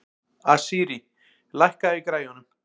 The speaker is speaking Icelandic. Asírí, lækkaðu í græjunum.